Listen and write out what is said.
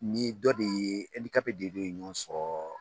Ni dɔ de ye de dɔ de ye ɲɔgɔn sɔrɔ